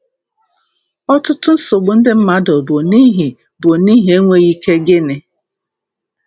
Ọtụtụ nsogbu ndị mmadụ bụ n'ihi bụ n'ihi enweghị ike gịnị?